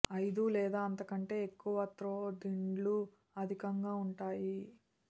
ఐదు లేదా అంతకంటే ఎక్కువ త్రో దిండ్లు అధికంగా ఉంటాయి